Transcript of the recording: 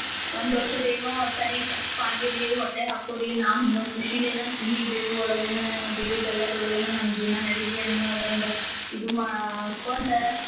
ಒಂದ್ ಏನೋ ಸರಿ ತಪ್ಪಾಗಿರ್ಲೀ ಹೊಟ್ಯಾಗ್ ಹಕ್ಕೋರಿ ನಾವ್ ಹಿಂಗ ಖುಷಿಲೇನ ಸಿಹಿ ಬೇವು ಒಳಗೇನ ಬೇವು ಬೆಲ್ಲಾದೊಳಗನಾ ನಮ್ ಜೀವ್ನಾ ನಡೀಲಿ ಅನ್ನೋದೊಂದ್ ಇದು ಮಾಡ್ಕೊಂಡ್.